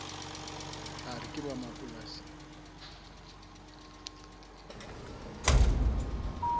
a re ke ba mapolasing